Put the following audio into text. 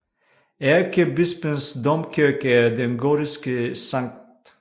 Ærkebispens domkirke er den gotiske Skt